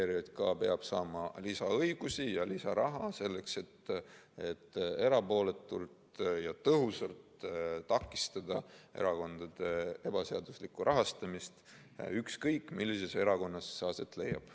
ERJK peab saama lisaõigusi ja lisaraha selleks, et erapooletult ja tõhusalt takistada erakondade ebaseaduslikku rahastamist, ükskõik millises erakonnas see aset leiab.